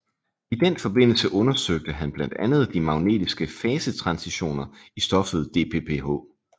I den forbindelse undersøgte han blandt andet de magnetiske fasetransitioner i stoffet DPPH